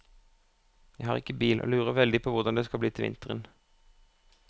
Jeg har ikke bil og lurer veldig på hvordan det skal bli til vinteren.